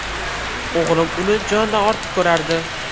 O‘g‘lim uni jonidan ortiq ko‘rardi.